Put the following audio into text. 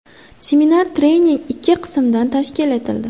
Seminar-trening ikki qismda tashkil etildi.